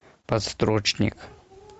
подстрочник